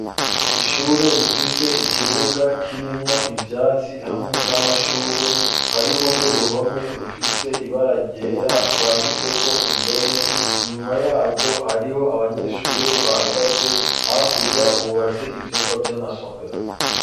Ishure, rifise ikibuga, kirimwo ivyatsi, hamwe n'amashurwe; hariho n'uruhome, rufise ibara ryera, rwanditseko indome, inyuma yarwo, hariho abanyeshure bahagaze, hakurya, hubatse ivyumba, vy'amasomero.